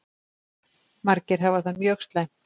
Margir hafi það mjög slæmt.